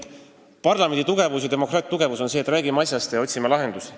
Parlamendi ja demokraatia tugevus on see, kui me räägime asjast ja otsime lahendust.